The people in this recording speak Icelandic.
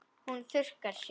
Hún þurrkar sér.